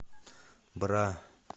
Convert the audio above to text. бра